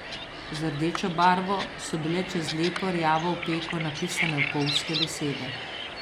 Z rdečo barvo so bile čez lepo rjavo opeko napisane opolzke besede.